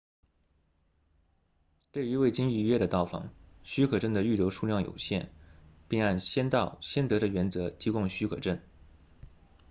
对于未经预约的到访许可证的预留数量有限并按先到先得的原则提供许可证